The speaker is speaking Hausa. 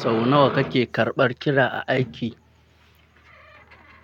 Sau nawa kake karɓar kira a aiki?